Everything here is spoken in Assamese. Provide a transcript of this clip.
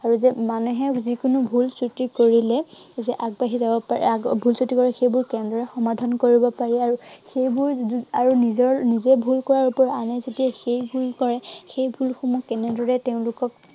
আৰু যত মানুহে যিকোনো ভুল ক্ৰতি কৰিলে যে আগবাঢ়ি যাব পাৰে আৰু যদি ভুল ক্ৰটি কৰাৰ পিছত, সেইবোৰ কেনেদৰে সমাধান কৰিব পাৰে আৰু সেইবোৰ উম আৰু নিজৰ, নিজৰ ভুল বোৰ আনে যদি সেই ভুল কৰে সেই ভুলসমূহ কেনেদৰে তেওঁলোকক